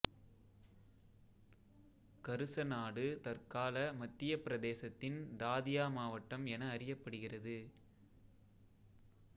கருச நாடு தற்கால மத்தியப் பிரதேசத்தின் தாதியா மாவட்டம் என அறியப்படுகிறது